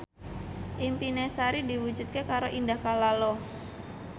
impine Sari diwujudke karo Indah Kalalo